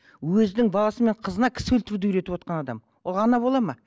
өзінің баласы мен қызына кісі өлтіруді үйретіп отырған адам ол ана бола ма